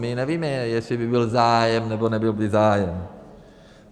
My nevíme, jestli by byl zájem, nebo by nebyl zájem.